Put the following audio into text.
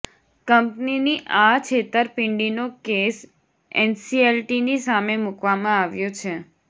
કંપનીની આ છેતરપિંડીનો કેસ એનસીએલટીની સામે મૂકવામાં આવ્યો છે